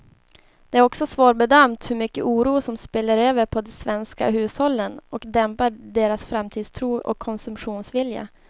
Det är också svårbedömt hur mycket oro som spiller över på de svenska hushållen och dämpar deras framtidstro och konsumtionsvilja.